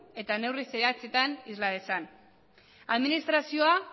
eta neurri zehatzetan isla dezan administrazioa